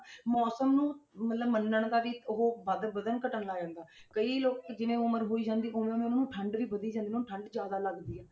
ਮੌਸਮ ਨੂੰ ਮਤਲਬ ਮੰਨਣ ਦਾ ਵੀ ਉਹ ਵੱਧ ਵਧਣ ਘੱਟਣ ਲੱਗ ਜਾਂਦਾ ਹੈ ਕਈ ਲੋਕ ਜਿਵੇਂ ਉਮਰ ਹੋਈ ਜਾਂਦੀ ਉਵੇਂ ਉੇਵੇਂ ਉਹਨਾਂ ਨੂੰ ਠੰਢ ਵੀ ਵਧੀ ਜਾਂਦੀ ਉਹਨਾਂ ਨੂੰ ਠੰਢ ਜ਼ਿਆਦਾ ਲੱਗਦੀ ਹੈ।